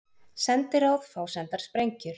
Sendiráð fá sendar sprengjur